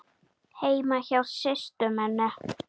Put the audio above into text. Heima hjá systur minni?